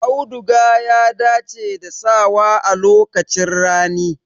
Auduga ya dace da sawa a lokacin rani.